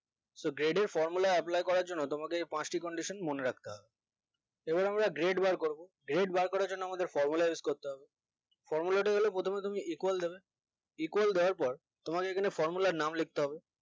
so grade এ formula apply করার জন্য তোমাদের এই পাঁচটি condition মনে রাখতে হবে এবং আমরা grade বার করবো grade বার করার জন্য আমাদের formula use করতে হবে formula টি হলো প্রথমে তুমি equal দেবে equal দেওয়ার পর তোমার এইগুলো আর নাম লিখতে হবে